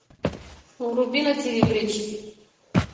вруби на тиви бридж